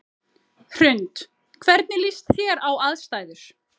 Hrund: Hvernig líst þér á aðstæður?